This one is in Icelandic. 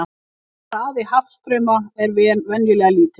Hraði hafstrauma er venjulega lítill.